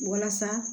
Walasa